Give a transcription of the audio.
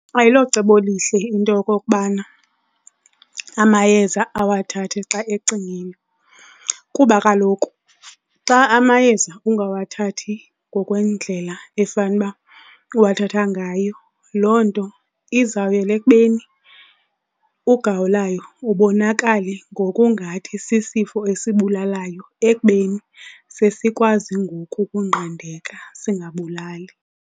Ayilocebo elihle into yokokubana amayeza awathathe xa ecingile kuba kaloku xa amayeza ungawathathi ngokwendlela efanuba uwathatha ngayo, loo nto izawuyela ekubeni ugawulayo ubonakale ngokungathi sisifo esibulalayo ekubeni sesikwazi ngoku ukunqandeka singabulali.